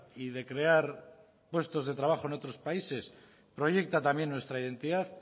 y de crear puestos de trabajo en otros países proyecta también nuestra identidad